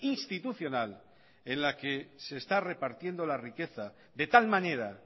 institucional en la que se está repartiendo la riqueza de tal manera